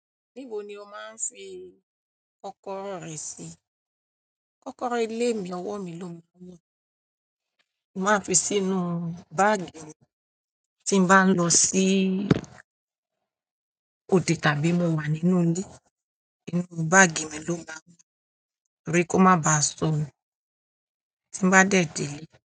Níbo ni o máa ń fi kọ́kọ́rọ́ rẹ sí? Kọ́kọ́rọ́ ìlè mi, ọwọ́ mi ló ń mú. Mo máa ń fi sínú báàgì mi tí bá ń lọ sí òdè tàbí mo wà nínú ilé. Nínú báàgì mi ló ń bá ọmú, ó rí kó má ba sùn tí n bá dẹ̀dẹ̀